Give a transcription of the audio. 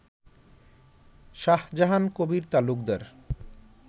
Shahjahan Kabir Talukdar